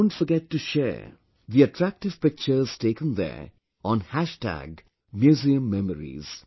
Don't forget to share the attractive pictures taken there on Hashtag Museum Memories